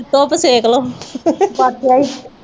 ਧੁੱਪ ਸੇਕਲੋ